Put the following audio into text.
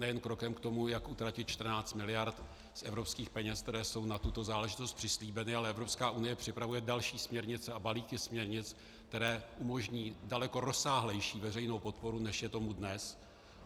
Nejen krokem k tomu, jak utratit 14 mld. z evropských peněz, které jsou na tuto záležitost přislíbeny, ale Evropská unie připravuje další směrnice a balíky směrnic, které umožní daleko rozsáhlejší veřejnou podporu, než je tomu dnes.